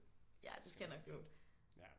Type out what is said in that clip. Ja det skal nok gå